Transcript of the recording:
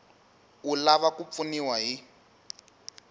u lava ku pfuniwa hi